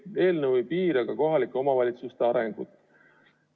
Eelnõu ei piira kohalike omavalitsuste arengut.